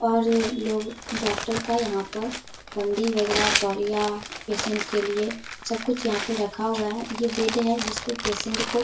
और ये लोग डॉक्टर का यहाँ पर बंडी वगेरह तौलिया पेशेंट के लिए सब कुछ यहाँ पर रखा हुआ है। ये बेड है जिसपे पेशेंट को --